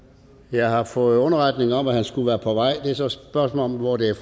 jeg har fået underretning om at han skulle være på vej det er så et spørgsmål om hvor det